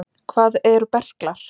Hvað eru berklar?